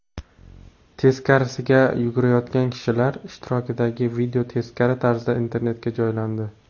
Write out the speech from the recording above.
Teskarisiga yugurayotgan kishilar ishtirokidagi video teskari tarzda internetga joylandi .